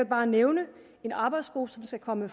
bare nævne en arbejdsgruppe som skal komme